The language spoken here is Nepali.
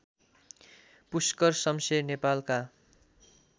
पुष्कर शमशेर नेपालका